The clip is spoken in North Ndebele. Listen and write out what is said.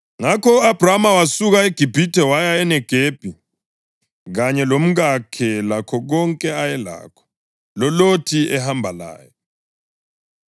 Ngakho u-Abhrama wasuka eGibhithe waya eNegebi, kanye lomkakhe lakho konke ayelakho, loLothi ehamba laye.